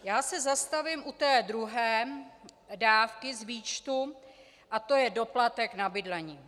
Já se zastavím u té druhé dávky z výčtu a to je doplatek na bydlení.